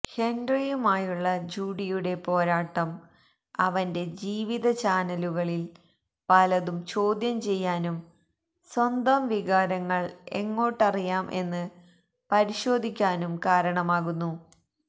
ഹെൻറിയുമായുള്ള ജുഡിയുടെ പോരാട്ടം അവന്റെ ജീവിതചാനലുകളിൽ പലതും ചോദ്യം ചെയ്യാനും സ്വന്തം വികാരങ്ങൾ എങ്ങോട്ടറിയാം എന്ന് പരിശോധിക്കാനും കാരണമാകുന്നു